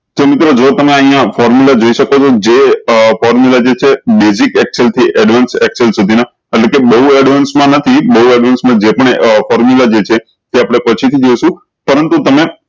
કેમ કે જો તમે અયીયા formula જોઈ શકો છો જે આ formula જે છે basic excel થી advance excel સુધી ના હાલ કે advance મા નથી બહુ advance જે પણ formula જે છે એ આપને પછી થી જોય્શું